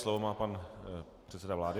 Slovo má pan předseda vlády.